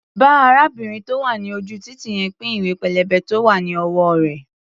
Bá arábìnrin tó wà ní ojú-títì yẹn pín ìwé-pélébé tó wá̀ ní ọwọ́ rẹ̀.